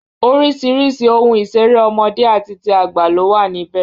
Orísìírísìí ohun ìṣeré ọmọdé àti ti àgbà ló wà níbẹ̀